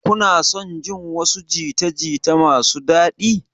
Kuna son jin wasu jita-jita masu daɗi?